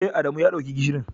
Eh, Adamu ya dauka gishirin.